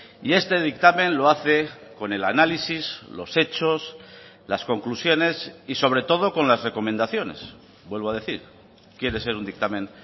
y este dictamen lo hace con el análisis los hechos las conclusiones y sobre todo con las recomendaciones vuelvo a decir quiere ser un dictamen